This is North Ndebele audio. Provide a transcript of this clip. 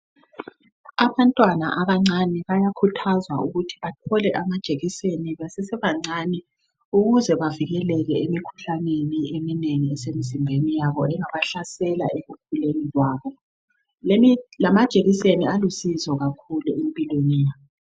abantwana abancane bayakhuthazwa ukuthi bathole amajekiseni besesebancane ukuze bavikeleke emikhuhlaneni eminengi esemzimbeni yabo engabahlasela ekukhuleni kwabo lamajekiseni alusizo kakhulu empilweni yabo